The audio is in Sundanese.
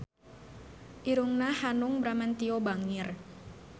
Irungna Hanung Bramantyo bangir